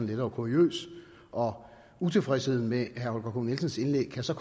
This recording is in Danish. lettere kuriøs og utilfredsheden med herre holger k nielsens indlæg kan så